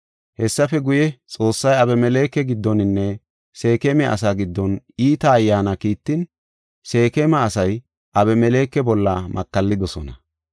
Hessafe guye, Xoossay Abimeleke giddoninne Seekema asaa giddon iita ayyaana kiittin Seekema asay Abimeleke bolla makallidosona.